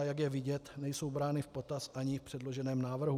A jak je vidět, nejsou brány v potaz ani v předloženém návrhu.